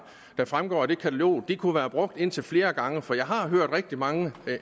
der fremgår af det katalog kunne være brugt indtil flere gange for jeg har hørt rigtig mange